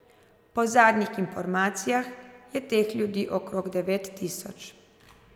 Po zadnjih informacijah je teh ljudi okrog devet tisoč.